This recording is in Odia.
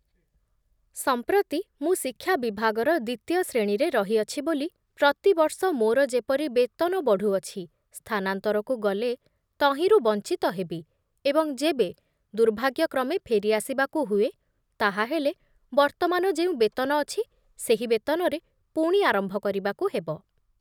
ସମ୍ପ୍ରତି ମୁଁ ଶିକ୍ଷା ବିଭାଗର ଦ୍ଵିତୀୟ ଶ୍ରେଣୀରେ ରହିଅଛି ବୋଲି ପ୍ରତିବର୍ଷ ମୋର ଯେପରି ବେତନ ବଢ଼ୁଅଛି ସ୍ଥାନାନ୍ତରକୁ ଗଲେ ତହିଁରୁ ବଞ୍ଚିତ ହେବି ଏବଂ ଯେବେ ଦୁର୍ଭାଗ୍ୟକ୍ରମେ ଫେରି ଆସିବାକୁ ହୁଏ, ତାହାହେଲେ ବର୍ତ୍ତମାନ ଯେଉଁ ବେତନ ଅଛି, ସେହି ବେତନରେ ପୁଣି ଆରମ୍ଭ କରିବାକୁ ହେବ ।